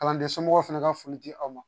Kalanden somɔgɔw fana ka foli di aw ma